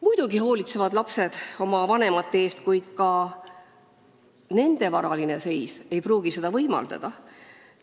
Muidugi hoolitsevad lapsed oma vanemate eest, kuid ka nende varaline seis ei pruugi seda võimaldada.